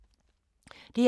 DR2